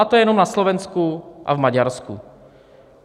A to je jenom na Slovensku a v Maďarsku.